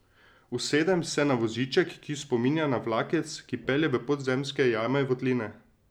Usedem se na voziček, ki spominja na vlakec, ki pelje v podzemske jame in votline.